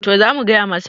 to za mu gaya masa